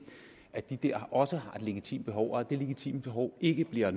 at de også har et legitimt behov og at det legitime behov ikke bliver